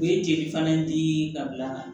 U ye jeli fana di ka bila